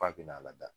F'a bina lada